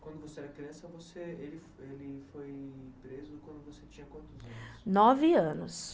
Quando você era criança, ele ele foi preso quando você tinha quantos anos? nove anos.